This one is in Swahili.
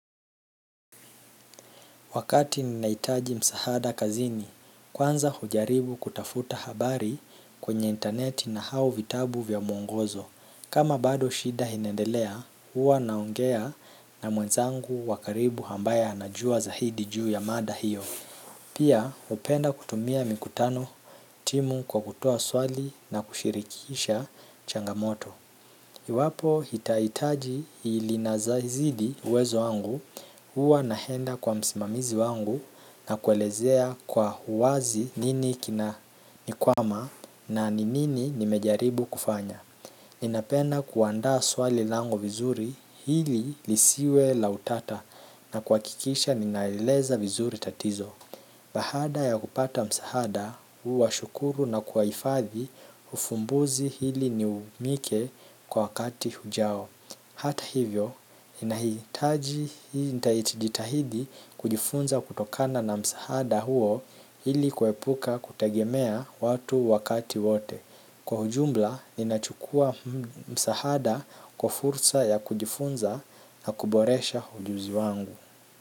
Wakati ninahitaji msaada kazini, kwanza hujaribu kutafuta habari kwenye intaneti na au vitabu vya mwongozo. Kama bado shida inaendelea, huwa naongea na mwenzangu wa karibu ambaye anajua zaidi juu ya mada hiyo. Pia, hupenda kutumia mikutano timu kwa kutoa swali na kushirikisha changamoto. Iwapo hitaji linazazidi uwezo wangu, h uwa naenda kwa msimamizi wangu na kuelezea kwa uwazi nini kinanikwama na ni nini nimejaribu kufanya. Ninapenda kuandaa swali langu vizuri hili lisiwe la utata na kuhakikisha ninaeleza vizuri tatizo. Baada ya kupata msaada, huwashukuru na kuwahifadhi ufumbuzi hili niumike kwa wakati ujao. Hata hivyo, ninahitaji nitajitahidi kujifunza kutokana na msaada huo hili kuepuka kutegemea watu wakati wote. Kwa ujumbla, ninachukua msaada kwa fursa ya kujifunza na kuboresha ujuzi wangu.